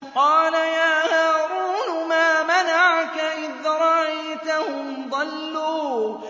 قَالَ يَا هَارُونُ مَا مَنَعَكَ إِذْ رَأَيْتَهُمْ ضَلُّوا